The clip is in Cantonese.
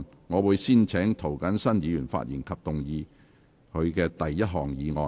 我會先請涂謹申議員發言及動議他的第一項議案。